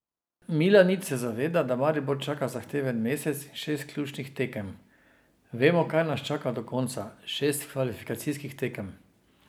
Milanič se zaveda, da Maribor čaka zahteven mesec in šest ključnih tekem: "Vemo, kaj nas čaka do konca, šest kvalifikacijskih tekem.